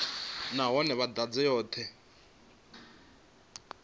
nahone vha i ḓadze yoṱhe